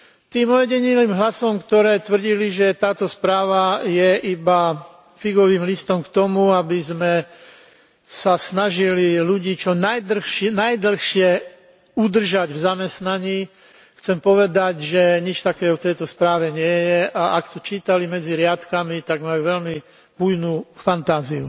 Tým ojedinelým hlasom, ktoré tvrdili, že táto správa je iba figovým listom k tomu, aby sme sa snažili ľudí čo najdlhšie udržať v zamestnaní, chcem povedať, že nič takého v tejto správe nie je, a ak to čítali medzi riadkami, tak majú veľmi bujnú fantáziu.